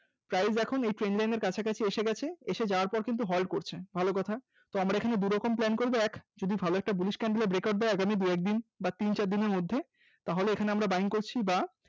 price এখন এই trend line এর কাছাকাছি এসে গেছে, এসে যাওয়ার পর কিন্তু halt করছে। ভালো কথা আমরা এখানে দু'রকম plan করব এক যদি ভালো একটা Bullish candle এর breakout দেয় আগামী দু একদিন বা তিন চার দিনের মধ্যে তাহলে এখানে আমরা Buying করছি বা